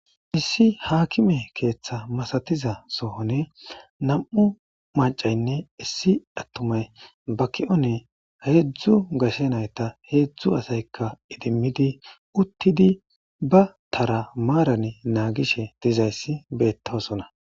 Issi haakime keeththa masatiza sohoni nam'u maccaynne issi attumay ba ki'oni hedzdzu gashe nayta hedzdzu asayka iddimidi uttidi ba tara maarani nagishe dizayssi beetosona.